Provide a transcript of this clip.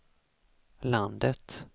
landet